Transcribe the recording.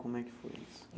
Como é que foi isso?